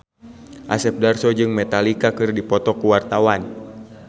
Asep Darso jeung Metallica keur dipoto ku wartawan